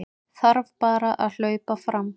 Þarf bara að hlaupa fram